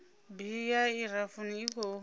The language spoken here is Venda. bili ya irafuthi i khou